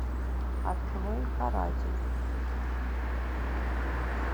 открой каратель